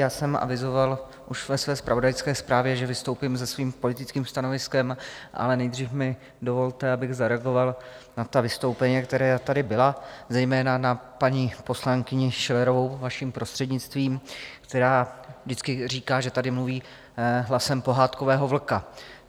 Já jsem avizoval už ve své zpravodajské zprávě, že vystoupím se svým politickým stanoviskem, ale nejdřív mi dovolte, abych zareagoval na ta vystoupení, která tady byla, zejména na paní poslankyni Schillerovou, vaším prostřednictvím, která vždycky říká, že tady mluví hlasem pohádkového vlka.